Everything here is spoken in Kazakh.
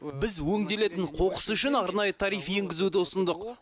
біз өңделетін қоқыс үшін арнайы тариф енгізуді ұсындық